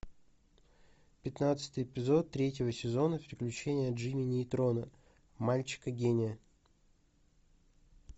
пятнадцатый эпизод третьего сезона приключения джимми нейтрона мальчика гения